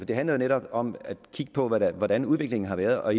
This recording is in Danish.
det handler netop om at kigge på hvordan hvordan udviklingen har været og